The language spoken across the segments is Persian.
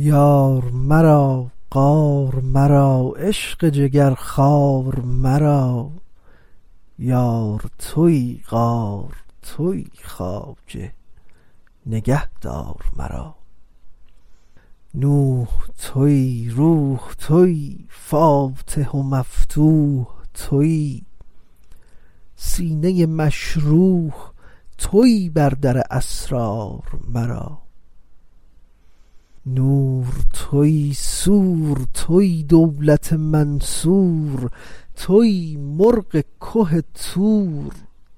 یار مرا غار مرا عشق جگرخوار مرا یار تویی غار تویی خواجه نگهدار مرا نوح تویی روح تویی فاتح و مفتوح تویی سینه مشروح تویی بر در اسرار مرا نور تویی سور تویی دولت منصور تویی مرغ که طور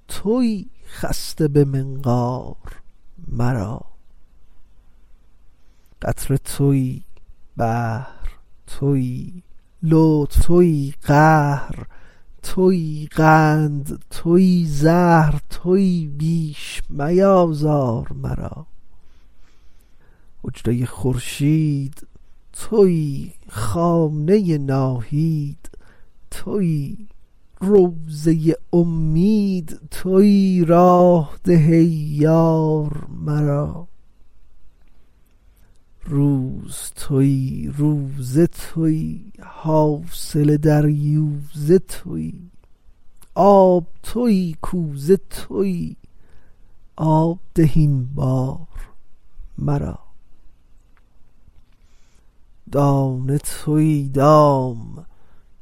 تویی خسته به منقار مرا قطره تویی بحر تویی لطف تویی قهر تویی قند تویی زهر تویی بیش میآزار مرا حجره خورشید تویی خانه ناهید تویی روضه امید تویی راه ده ای یار مرا روز تویی روزه تویی حاصل دریوزه تویی آب تویی کوزه تویی آب ده این بار مرا دانه تویی دام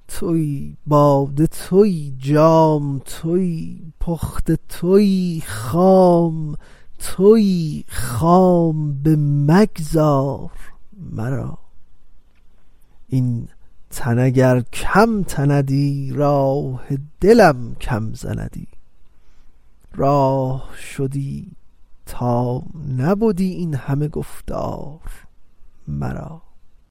تویی باده تویی جام تویی پخته تویی خام تویی خام بمگذار مرا این تن اگر کم تندی راه دلم کم زندی راه شدی تا نبدی این همه گفتار مرا